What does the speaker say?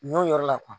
Ɲɔ yɔrɔ la